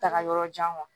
Taga yɔrɔ jan wa